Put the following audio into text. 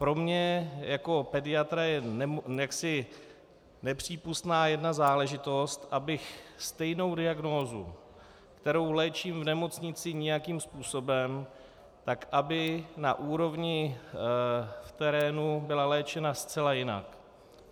Pro mě jako pediatra je jaksi nepřípustná jedna záležitost, abych stejnou diagnózu, kterou léčím v nemocnici nějakým způsobem, tak aby na úrovni v terénu byla léčena zcela jinak.